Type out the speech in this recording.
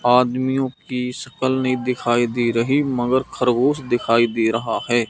आदमियों की शकल नहीं दिखाई दे रही मगर खरगोश दिखाई दे रहा है।